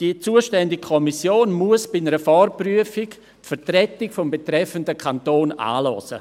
Die zuständige Kommission muss bei einer Vorprüfung die Vertretung des betreffenden Kantons anhören.